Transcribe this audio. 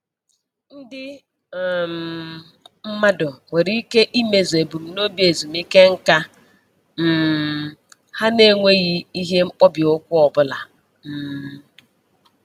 Ndị um mmadụ nwere ike imezu ebumnobi ezumike nka um ha na-enweghị ihe mkpọbi ụkwụ ọbụla um